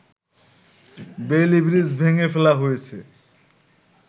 Bailey bridge ভেঙে ফেলা হয়েছে